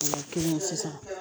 O la kelen sisan